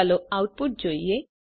ચાલો આઉટપુટ જોઈએ